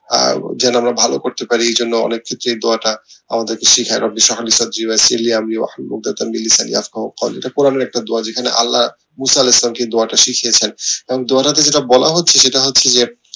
আহ যেন আমরা ভালো করতে পারি এই জন্য অনেকে এই দোয়াটা আমাদের কে কোরানীর একটা দোয়া যেখানে আল্লা দোয়াটা শিখিয়ছেন এবং দোয়াটা তে যা বলা হচ্ছে সেটা হচ্ছে গিয়ে